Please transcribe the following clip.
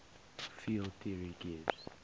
field theory gives